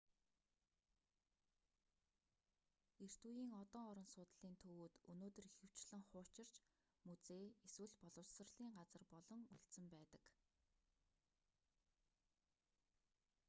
эрт үеийн одон орон судлалын төвүүд өнөөдөр ихэвчлэн хуучирч музей эсвэл боловсролын газар болон үлдсэн байдаг